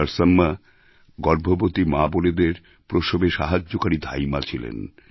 নরসাম্মা গর্ভবতী মাবোনেদের প্রসবে সাহায্যকারী ধাইমা ছিলেন